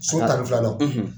So tan ni filanan